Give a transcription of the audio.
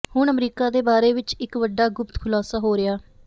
ਹੁਣ ਅਮਰੀਕਾ ਦੇ ਬਾਰੇ ਵਿਚ ਇਕ ਵੱਡਾ ਗੁਪਤ ਖੁਲਾਸਾ ਹੋ ਰਿਹਾ